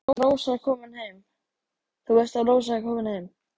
Þú veist að Rósa er komin heim.